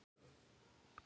Þeim er alveg sama.